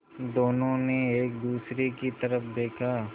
दोनों ने एक दूसरे की तरफ़ देखा